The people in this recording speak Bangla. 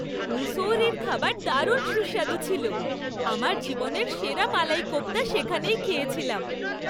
মুসৌরির খাবার দারুণ সুস্বাদু ছিল। আমার জীবনের সেরা মালাই কোপ্তা সেখানেই খেয়েছিলাম।